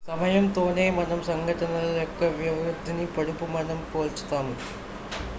సమయంతోనే మనం సంఘటనల యొక్క వ్యవధిని పొడవు మనం పోల్చుతాము